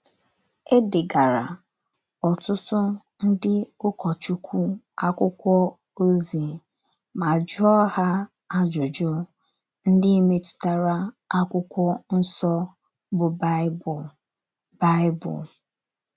É degaara. ọtụtụ ndị ụkọchukwu akwụkwọ ozi, ma jụọ ha ajụjụ ndị metụtara akwụkwọ nso bụ Baịbụl. Baịbụl.